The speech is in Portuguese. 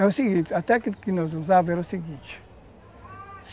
É o seguinte, a técnica que nós usávamos era a seguinte.